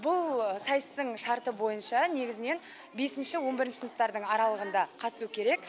бұл сайыстың шарты бойынша негізінен бесінші он бірінші сыныптардың аралығында қатысуы керек